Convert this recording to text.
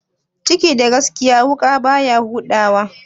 Ciki da gaskiya, wuƙa baya huda wa?